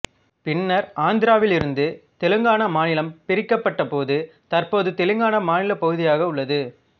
பின்னர் ஆந்திராவிலிருந்து தெலங்காணா மாநிலம் பிரிக்கப்பட்ட போது தற்போது தெலங்காணா மாநிலப் பகுதியாக உள்ளது